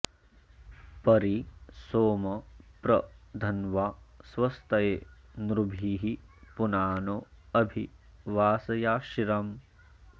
परि सोम प्र धन्वा स्वस्तये नृभिः पुनानो अभि वासयाशिरम्